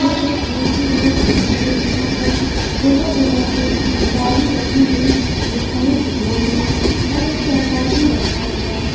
यह एक बहोत ही बड़ा ग्राउंड है जहाँ पर जगह-जगह पे बालू रखी हुई दिखाई दे रही है और एक चारपाई भी रखा हुआ है।